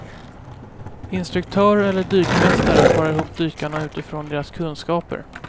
Instruktörer eller dykmästare parar ihop dykarna utifrån deras kunskaper.